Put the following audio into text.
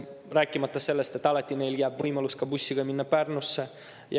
Rääkimata sellest, et alati jääb neile võimalus ka bussiga minna Pärnusse.